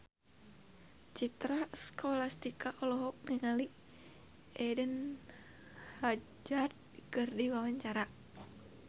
Citra Scholastika olohok ningali Eden Hazard keur diwawancara